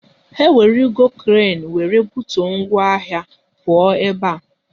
Ha ewerugo kren wéré butuo ngwa ahịa, pụọ ebe a!